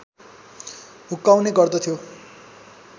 हुक्काउने गर्दथ्यो